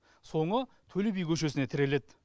соңы төлеби көшесіне тіреледі